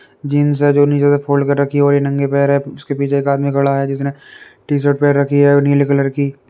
Jeans है जो नीचे से फ़ोल्ड कर रखी है और ये नंगे पैर है जिसके पीछे एक आदमी खड़ा है जिसने टी शर्ट पहन रखी है नीले कलर की।